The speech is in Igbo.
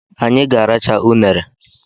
Anyị ga-arachaa unere